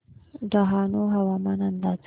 डहाणू हवामान अंदाज